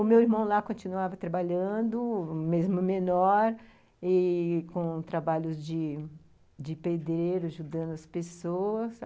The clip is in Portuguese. O meu irmão lá continuava trabalhando, mesmo menor, e com trabalhos de pedreiro, ajudando as pessoas.